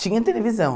Tinha televisão.